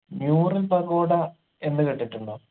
Noorin pagoda എന്ന് കേട്ടിട്ടുണ്ടോ